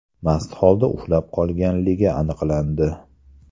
mast holda uxlab qolganligi aniqlandi.